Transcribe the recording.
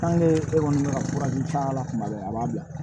e kɔni bɛ ka furaji k'a la tuma bɛɛ a b'a bila